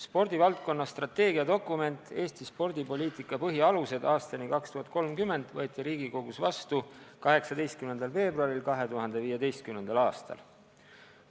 Spordivaldkonna strateegiadokument "Eesti spordipoliitika põhialused aastani 2030" võeti Riigikogus vastu 18. veebruaril 2015. aastal.